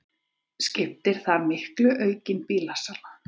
Skiptir þar miklu aukin bílasala